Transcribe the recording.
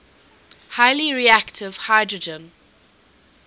highly reactive hydrogen